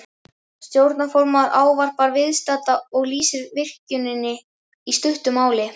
Stjórnarformaður ávarpar viðstadda og lýsir virkjuninni í stuttu máli.